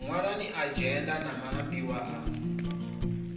ṅwalani adzhenda na maambiwa a